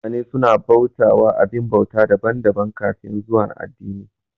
Mutane su na bauta wa abin bauta daban daban kafin zuwan addini